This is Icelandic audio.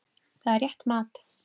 Það er rétt mat.